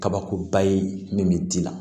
Kabakuruba ye min bɛ di la